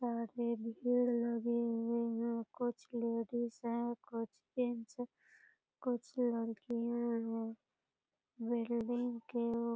कुछ लेडीज हैं कुछ जेंट्स है कुछ लड़कियाँ है बिल्डिंग के --